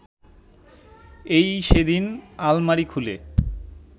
এই সেদিন আলমারি খুলে